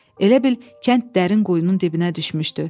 Elə bil kənd dərin quyunun dibinə düşmüşdü.